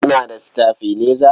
Kuna da sitabilaiza?